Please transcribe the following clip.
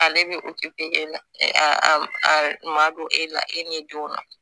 Ale bɛ e la a a ma don e la e ɲɛ denw na